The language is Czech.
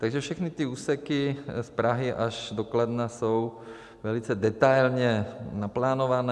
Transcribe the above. Takže všechny ty úseky z Prahy až do Kladna jsou velice detailně naplánované.